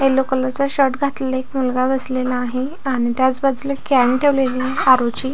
Yellow colour चे shirt घातलेल एक मुलगा बसलेला आहे आणि त्याच बाजूला कॅन ठेवलेला आहे आरो ची.